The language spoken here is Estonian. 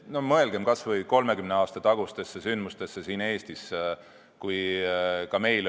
Mõelgem kas või 30 aasta tagustele sündmustele siin Eestis!